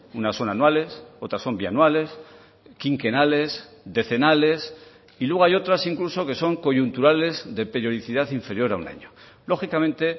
unas son anuales otras son bianuales quinquenales decenales y luego hay otras incluso que son coyunturales de periodicidad inferior a un año lógicamente